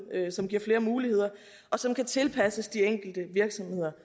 som giver flere muligheder og som kan tilpasses de enkelte virksomheder